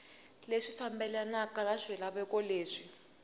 leswi fambelanaka na swilaveko leswi